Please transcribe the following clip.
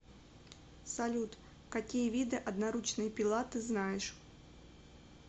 салют какие виды одноручная пила ты знаешь